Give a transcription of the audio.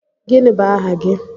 Gịnị bụ aha gị?